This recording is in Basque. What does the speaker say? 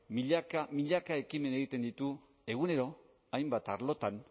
milaka milaka ekimen egiten ditu egunero hainbat arlotan